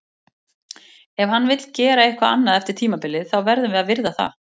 Ef hann vill gera eitthvað annað eftir tímabilið, þá verðum við að virða það.